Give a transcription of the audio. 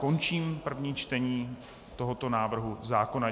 Končím první čtení tohoto návrhu zákona.